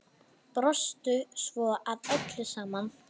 Brostu svo að öllu saman.